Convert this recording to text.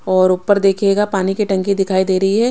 और उपर देखियेगा पाणी की टंकी दिखाई दे रही है।